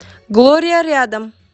глория рядом